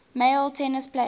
male tennis players